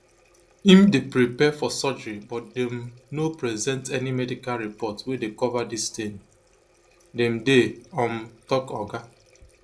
im dey prepare for surgery but dem no present any medical report wey dey cover dis tin dem dey um tok oga